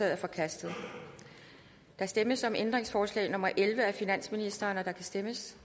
er forkastet der stemmes om ændringsforslag nummer elleve af finansministeren og der kan stemmes